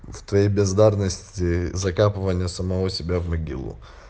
в твоей бездарности закапывания самого себя в могилу